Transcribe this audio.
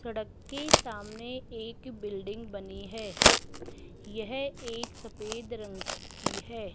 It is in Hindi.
सड़क के सामने एक बिल्डिंग बनी है यह एक सफेद रंग की है।